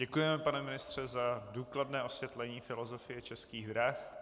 Děkujeme, pane ministře, za důkladné osvětlení filozofie Českých drah.